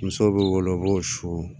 Muso bɛ wolo k'o su